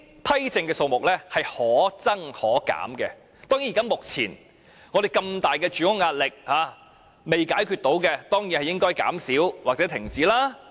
批證的數目可增可減，目前巨大的住屋壓力仍未能解決，當然應該減少或停止。